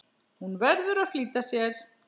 Hún verður að flýta sér.